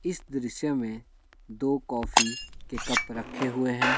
इस दृश्य में दो कॉफी के कप रखे हुए हैं ।